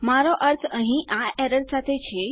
મારો અર્થ અહીં આ એરર સાથે છે